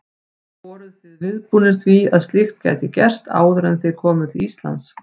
Voruð þið viðbúnir því að slíkt gæti gerst áður en þið komuð til Íslands?